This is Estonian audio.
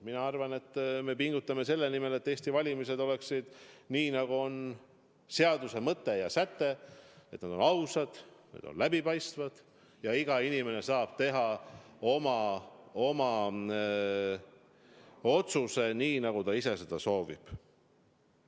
Mina arvan, et me pingutame selle nimel, et Eesti valimised on nii, nagu on seaduse mõte ja säte, ausad, et need on läbipaistvad ja iga inimene saab teha oma otsuse nii, nagu ta ise seda soovib.